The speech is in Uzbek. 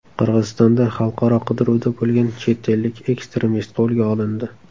Qirg‘izistonda xalqaro qidiruvda bo‘lgan chet ellik ekstremist qo‘lga olindi.